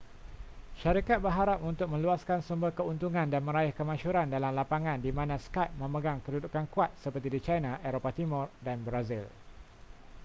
syarikat berharap untuk meluaskan sumber keuntungan dan meraih kemasyhuran dalam lapangan di mana skype memegang kedudukan kuat seperti di china eropah timur dan brazil